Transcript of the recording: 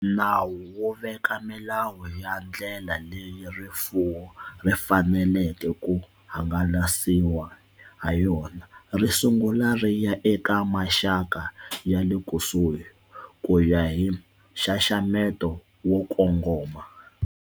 Nawu wu veka milawu ya ndlela leyi rifuwo ri faneleke ku hangalasiwa hayona. Ri sungula ri ya eka maxaka ya lekusuhi, ku ya hi nxaxamelo wo kongoma.